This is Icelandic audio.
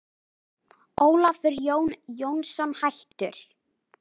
Ólafur Jón Jónsson, hættur